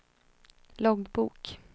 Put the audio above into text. loggbok